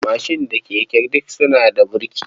Mashin da keke duk suna da burki.